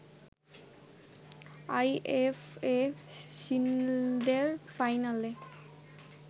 IFA শিল্ডের ফাইনালে